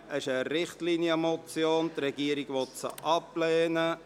Das ist eine Richtlinienmotion, die Regierung will sie ablehnen.